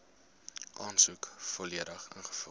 aansoek volledig ingevul